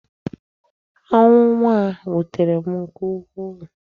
Ọnwụ nwa m wutere m nke ukwu.